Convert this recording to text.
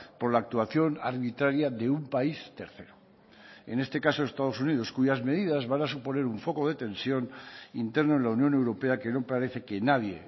por la actuación arbitraria de un país tercero en este caso estados unidos cuyas medidas van a suponer un foco de tensión interno en la unión europea que no parece que nadie